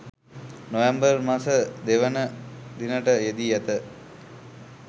නොවැම්බර් මස 02 වන දිනට යෙදී ඇත.